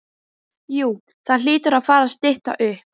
Jú það hlýtur að fara að stytta upp.